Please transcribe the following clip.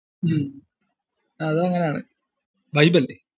ഉം അത് അങ്ങിനെ ആണ് vibe അല്ലെ?